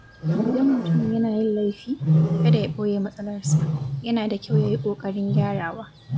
Idan mutum yana yin laifi, kada ya ɓoye matsalarsa, yana da kyau yayi ƙoƙarin gyarawa.